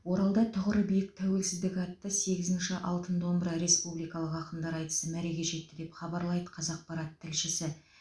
оралда тұғыры биік тәуелсіздік атты сегізінші алтын домбыра республикалық ақындар айтысы мәреге жетті деп хабарлайды қазақпарат тілшісі